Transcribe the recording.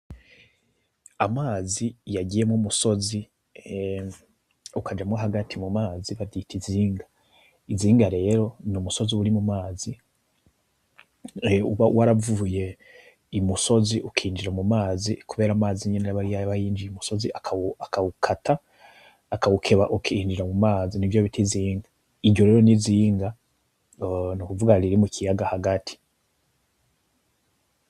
Amazi yagiyemwo umusozi, ukajamwo hagati mumazi bavyita inzinga. Inzinga rero ni umusozi uri mumazi uba waravuye imusozi ukinjira mumazi, kubera amazi nyene aba yinjiye umusozi akawukata, akawukeba ukinjira mumazi nivyo bita inzinga. Iryo rero ninzinga nukuvuga riri mukiyaga hagati.